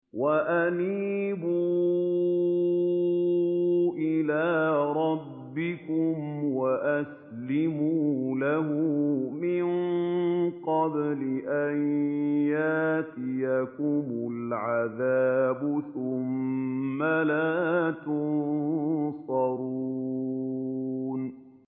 وَأَنِيبُوا إِلَىٰ رَبِّكُمْ وَأَسْلِمُوا لَهُ مِن قَبْلِ أَن يَأْتِيَكُمُ الْعَذَابُ ثُمَّ لَا تُنصَرُونَ